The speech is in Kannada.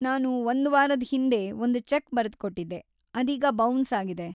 ನಾನು ಒಂದ್ ವಾರದ್ ಹಿಂದೆ ಒಂದ್ ಚೆಕ್‌ ಬರ್ದ್‌ಕೊಟ್ಟಿದ್ದೆ, ಅದೀಗ ಬೌನ್ಸ್‌ ಆಗಿದೆ.